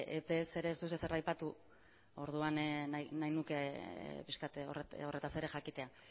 epez ere ez duzu ezer aipatu orduan nahi nuke pixka bat horretaz ere jakitea